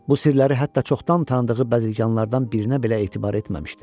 Bu sirləri hətta çoxdan tanıdığı bəzirganlardan birinə belə etibar etməmişdi.